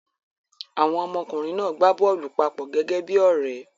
Àwọn ọmọkùnrin náà gbá bọ́ọ́lù papọ̀ gẹ́gẹ́ bí i ọ̀rẹ́.